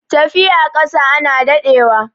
tafiya ƙasa ana daɗewa